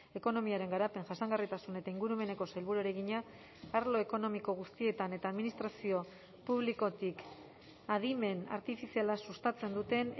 ekonomiaren garapen jasangarritasun eta ingurumeneko sailburuari egina arlo ekonomiko guztietan eta administrazio publikotik adimen artifiziala sustatzen duten